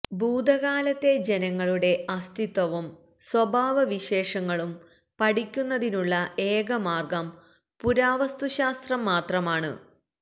ഭൂതകാലത്തെ ജനങ്ങളുടെ അസ്തിത്വവും സ്വഭാവവിശേഷങ്ങളും പഠിയ്ക്കുന്നതിനുള്ള ഏകമാർഗ്ഗം പുരാവസ്തുശാസ്ത്രം മാത്രമാണു്